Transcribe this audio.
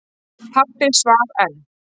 Pabbi svaf enn.